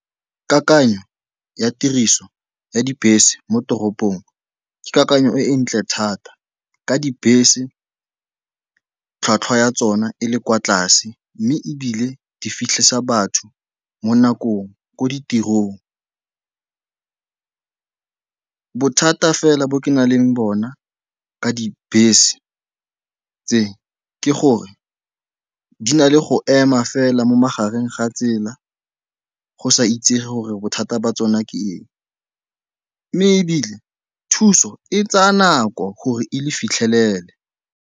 Kakanyo ya tiriso ya dibese mo toropong ke kakanyo e e ntle thata ka dibese tlhwatlhwa ya tsona e le kwa tlase, mme ebile di fitlhe sa batho mo nakong ko ditirong. Bothata fela bo ke nang le bona ka dibese tse ke gore di na le go ema fela mo magareng ga tsela, go sa itsege gore bothata jwa tsona ke eng, mme ebile thuso e tsaya nako gore e le fitlhelele.